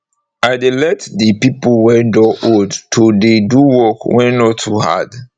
i dey let de pipo wey don old to dey do work wey nor too hard